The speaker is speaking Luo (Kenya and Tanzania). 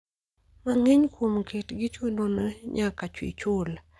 Mang'eny kuom kitgi chuno no nyaka ichul